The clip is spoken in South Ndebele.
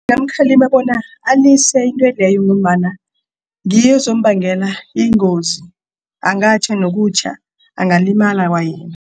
Ngingamkhallima bona alise intweleyo ngombana ngiyo ezombangelea ingozi angatjha nokutjha angalimala kwayena.